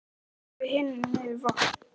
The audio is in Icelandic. Þá leggjum við hinir niður vopn.